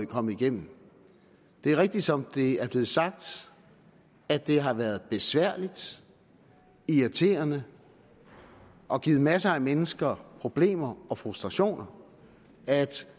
kommet igennem det er rigtigt som det er blevet sagt at det har været besværligt irriterende og givet masser af mennesker problemer og frustrationer at